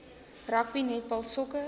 rugby netbal sokker